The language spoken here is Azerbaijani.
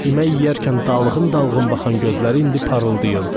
Yemək yeyərkən dalğın-dalğın baxan gözləri indi parıldayırdı.